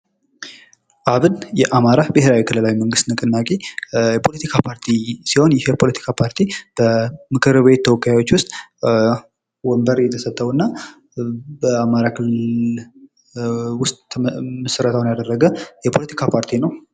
አብን የአማራ ብሄራዊ ንቅናዊ የፖለቲካ ፓርቲ ሲሆን ይህ የፖለቲካ ፓርቲ በምክርቤት ተወካዮች ውስጥ ወንበር የተሰጠው እና በአማራ ክልል ዉስጥ ምስረታውን ያደረገ የፖለቲካ ፓርቲ ነው።